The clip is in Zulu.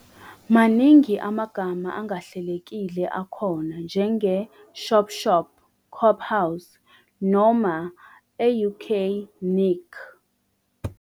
Maningi amagama angahlelekile akhona, njenge "shop shop", "cophouse" noma, e-UK, "nick".